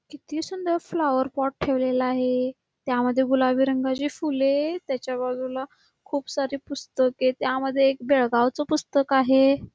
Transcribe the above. किती सुंदर flower pot ठेवलेला आहे त्यामध्ये गुलाबी रंगाची फुले त्याच्या बाजूला खुप सारी पुस्तके त्यामध्ये एक बेळगाव च पुस्तक आहे.